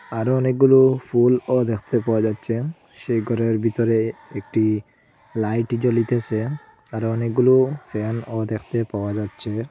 আরো অনেকগুলো ফুলও দেখতে পাওয়া যাচ্ছে সেই ঘরের ভিতরে একটি লাইট জ্বলিতেসে আরো অনেকগুলো ফ্যানও দেখতে পাওয়া যাচ্ছে।